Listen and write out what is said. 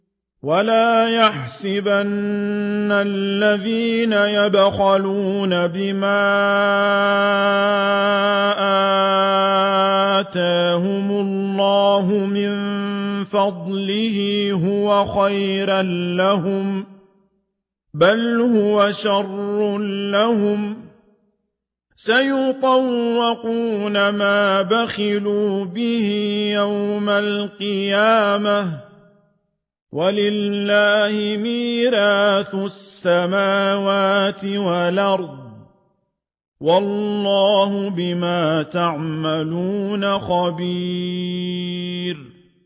وَلَا يَحْسَبَنَّ الَّذِينَ يَبْخَلُونَ بِمَا آتَاهُمُ اللَّهُ مِن فَضْلِهِ هُوَ خَيْرًا لَّهُم ۖ بَلْ هُوَ شَرٌّ لَّهُمْ ۖ سَيُطَوَّقُونَ مَا بَخِلُوا بِهِ يَوْمَ الْقِيَامَةِ ۗ وَلِلَّهِ مِيرَاثُ السَّمَاوَاتِ وَالْأَرْضِ ۗ وَاللَّهُ بِمَا تَعْمَلُونَ خَبِيرٌ